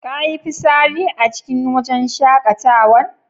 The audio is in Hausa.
Ka yi fisari a cikin wajn shakatawan?